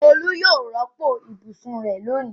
Olú yóò rọ́pò ibùsùn rẹ̀ lónìí.